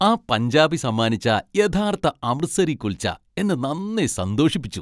ആ പഞ്ചാബി സമ്മാനിച്ച യഥാർത്ഥ അമൃത്സരി കുൽച്ച എന്നെ നന്നെ സന്തോഷിപ്പിച്ചു.